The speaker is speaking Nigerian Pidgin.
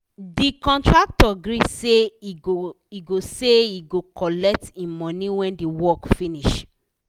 the contractor gree say he go say he go collect him money when the work finish